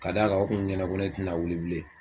Ka d'a kan o kun ɲɛna ko ne tɛna wili bilen